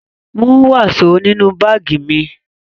Mú wàsó nínú báágì mi!